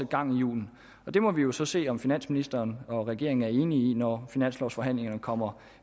gang i hjulene og det må vi jo så se om finansministeren og regeringen er enige i når finanslovforhandlingerne kommer